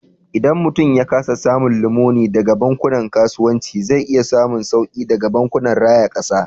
Idan mutum ya kasa samun lamuni daga bankunan kasuwanci, zai iya samun sauki daga bankunan raya kasa.